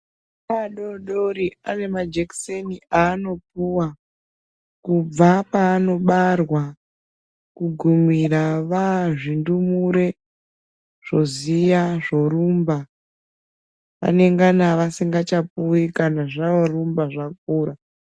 Ana adoodori anemajekiseni aanopuwa kubva paanobarwa. Kugumira vaazvindumure zvoziya zvorumba .Vanegana vasingapuwi kana zvoorumba zvokura